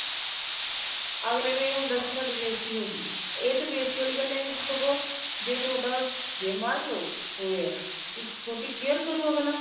ਅਗਲੇ ਨੂੰ ਇਹ ਹੁੰਦਾ ਸੀ ਸਾਡੀ ਬੇਸਤੀ ਹੋਜੂ ਇਸ ਚ ਬੇਸਤੀ ਵਾਲੀ ਗੱਲ ਈ ਨਹੀਂ ਸੀ ਸਗੋਂ ਜੇ ਤੁਹਾਡਾ ਜੇ ਮੰਨਲੋ ਹੋਇਆ ਤੁਹਾਡੀ care ਕਰੁ ਅਗਲਾ